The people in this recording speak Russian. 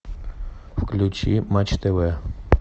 включи матч тв